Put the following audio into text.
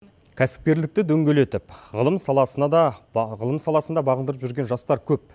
кәсіпкерлікті дөңгелетіп ғылым саласына да ғылым саласын да бағындырып жүрген жастар көп